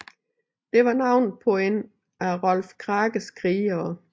Det var navnet på en af Rolf Krakes krigere